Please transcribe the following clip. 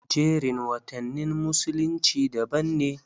Jerin watannin musulunci daban ne.